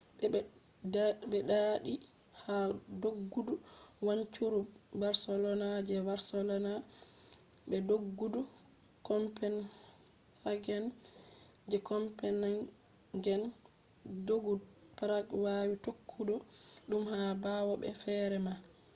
be ɗaaɗi ha doggudu wancuru barcelona je barcelona be doggudu copenhagen je copenhagen doggudu prague yawi tokkugo ɗum ha ɓawo be feere ma